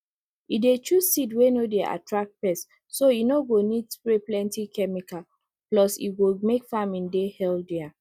e dey choose seed wey no dey attract pests so e no go need spray plenty chemikal plus e go make farming dey healthier